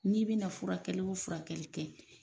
N'i bɛna furakɛli o furakɛli kɛ